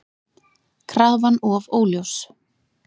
Krafan of óljós